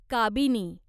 Kabini